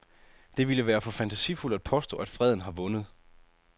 Det ville være for fantasifuldt at påstå, at freden har vundet.